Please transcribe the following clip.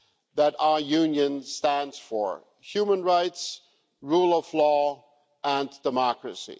that our Union stands for human rights, the rule of law and democracy.